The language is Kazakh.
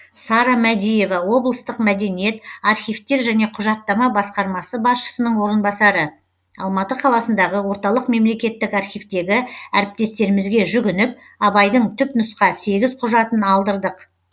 сара мәдиева облыстық мәдениет архивтер және құжаттама басқармасы басшысының орынбасары алматы қаласындағы орталық мемлекеттік архивтегі әріптестерімізге жүгініп абайдың түпнұсқа сегіз құжатын алдырдық